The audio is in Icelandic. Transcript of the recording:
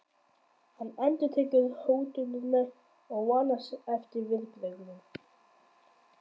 Hann endurtekur hótunina og vonast eftir viðbrögðum.